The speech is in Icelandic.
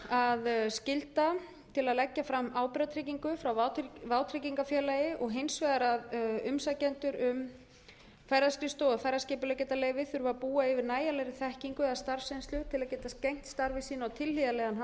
að skylda til að leggja fram ábyrgðartryggingu frá vátryggingafélagi og hins vegar að umsækjendur um ferðaskrifstofu og ferðaskipuleggjendaleyfi þurfi að búa yfir nægjanlegri þekkingu eða starfsreynslu til að geta gegnt starfi sínu á tilhlýðilegan hátt